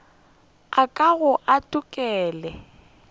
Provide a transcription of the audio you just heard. a ka ga a ntokolle